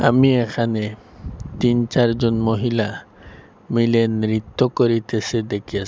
me এখানে তিন চারজন মহিলা মিলে নৃত্য করিতেসে দেখিয়াস--